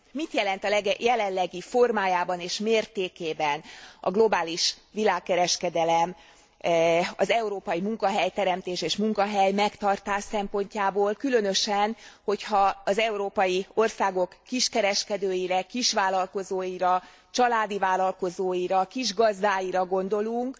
Mit jelent a jelenlegi formájában és mértékében a globális világkereskedelem az európai munkahelyteremtés és megtartás szempontjából, különösen, hogyha az európai országok kiskereskedőire, kisvállalkozóira, családi vállalkozóira, kisgazdáira gondolunk,